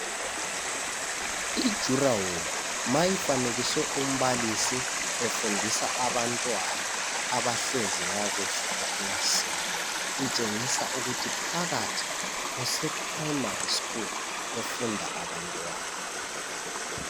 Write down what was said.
Udonga nxa lufanekiswe umbalisi efundisa abantwana abahlezi kakuhle ekilasini itshengisa ukuthi phakathi kuse primary school befunda abantwana